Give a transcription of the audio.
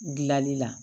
Gilali la